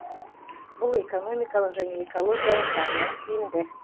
бұл экономикалық және экологиялық жағынан тиімді